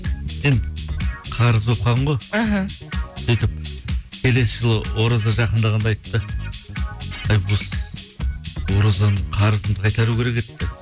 енді қарыз болып қалған ғой іхі сөйтіп келесі жылы ораза жақындағанда айтыпты әй осы оразаның қарызымды қайтару керек еді деп